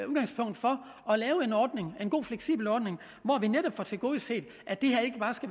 udgangspunkt for at lave en god fleksibel ordning hvor vi netop får tilgodeset